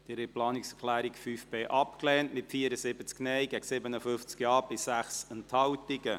Sie haben die Planungserklärung 5.b abgelehnt, mit 74 Nein- gegen 57 Ja-Stimmen bei 6 Enthaltungen.